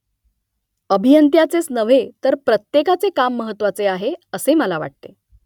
अभियंत्याचेच नव्हे तर प्रत्येकाचे काम महत्त्वाचे आहे असे मला वाटते